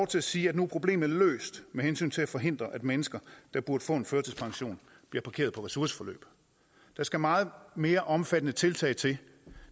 til at sige at nu er problemet løst med hensyn til at forhindre at mennesker der burde få en førtidspension bliver parkeret på ressourceforløb der skal meget mere omfattende tiltag til